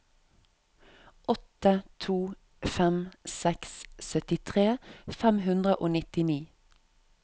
åtte to fem seks syttitre fem hundre og nittini